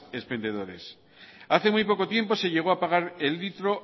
expendedores hace muy poco tiempo se llegó a pagar el litro